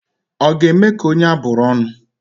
Ọ ga-eme ka onye abụrụ ọnụ?